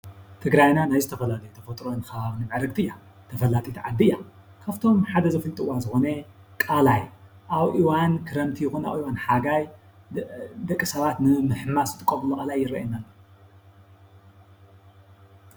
ትግራይና ናይ ዝተፈላለዩ ተፈጥሮ ከባብ ምዕርግትን እያ። ተፈላጢት ዓዲ እያ። ካብ እቶም ሓደ ዘፈልጥዋ ሓደ ዝኮነ ቃላይ አብ እዋን ክረምቲ ይኮኑ አብ እዋን ሓጋይ ደቂ ሰባት ንምሕማስ ዝጥቀምሉ ቃላይ ይረኣየኒ አሎ፡፡